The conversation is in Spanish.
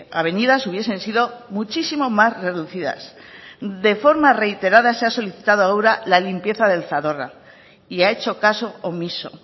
avenidas hubiesen sido muchísimo más reducidas de forma reiterada se ha solicitado a ura la limpieza del zadorra y ha hecho caso omiso